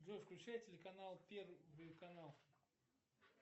джой включай телеканал первый канал